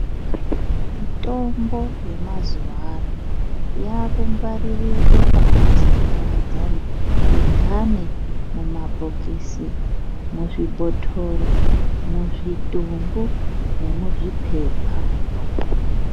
Mitombo yemazuva ano yaakungwaririrwe pakaparadzana mhithane, mumabhokisi, muzvibhotoro, muzvitobo nemuzviphepha.